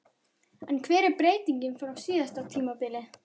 En hver er breytingin frá síðasta tímabili?